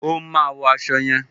O máa wo aṣọ yẹn.